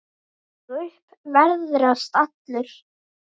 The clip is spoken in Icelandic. Ég upp veðrast allur.